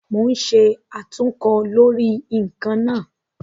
Mo ń ṣe àtúnkọ lórí ǹkan náà